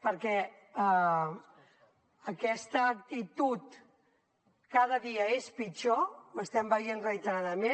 perquè aquesta actitud cada dia és pitjor ho estem veient reiteradament